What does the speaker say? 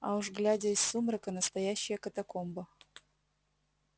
а уж глядя из сумрака настоящая катакомба